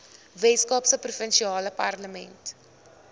weskaapse provinsiale parlement